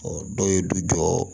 dɔw ye du jɔ